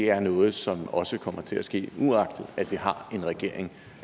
er noget som også kommer til at ske uagtet at vi har en regering